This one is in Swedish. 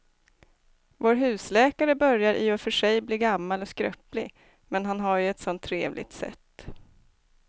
Vår husläkare börjar i och för sig bli gammal och skröplig, men han har ju ett sådant trevligt sätt!